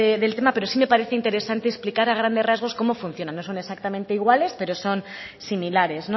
del tema pero sí me parece interesante explicar a grandes rasgos cómo funcionan no son exactamente iguales pero son similares